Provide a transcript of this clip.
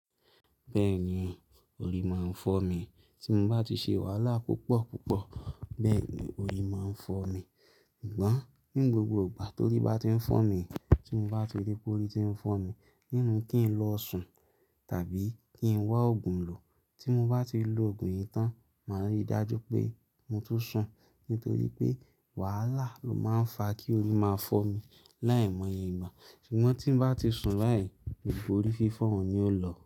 Bẹ́ẹ̀ni, orí máa ń fọ́ mi. Tí mo bá ti ṣe wàhálà púpọ̀ púpọ̀, bẹ́ẹ̀ ni orí máa ń fọ́ mi. Sugbọ́n ní gbogbo ìgbà tó rí bá ti ń fọ́ mi, tí mo bá ti rí pé orí ti ń fọ́ mi, ninu kí ń lọ sùn tàbí kí ń wá òògùn lò. Tí mo bá ti lo òògùn yìí tán, màá rí i dájú pé mo tun sùn. Nítorí pé wàhálà ló máa ń fa kí orí máa fọ́ mi láì mọ̀ iye ìgbà. Ṣùgbọ́n tí mo bá ti sùn báì, ni pé orí fífọ́ un yió lọ.